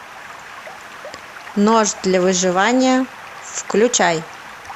нож для выживания включай